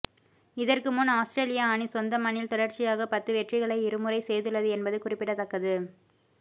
இதற்கு முன் ஆஸ்திரேலியா அணி சொந்த மண்ணில் தொடர்ச்சியாக பத்து வெற்றிகளை இருமுறை செய்துள்ளது என்பது குறிப்பிடத்தக்கது